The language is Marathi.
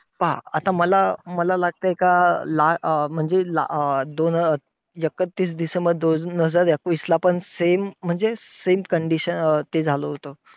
हा! आता मला मला लागतंय का, ला अं म्हणजे दोन हजार एकतीस डिसेंबर दोन हजार एकवीस ला पण same म्हणजे same condition ते झालं होतं.